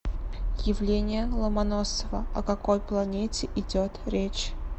явление ломоносова о какой планете идет речь